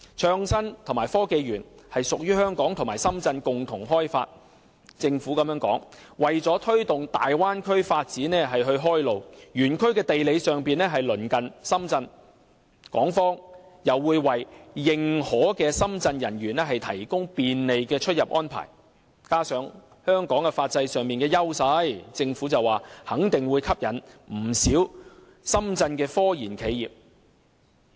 創新及科技園屬香港和深圳共同開發，而政府的說法是為了推動大灣區發展開路，園區的地理上是鄰近深圳，港方又會為認可的深圳方人員提供便利的出入安排，加上香港在法制上的優勢，肯定會吸引不少深圳的科研企業。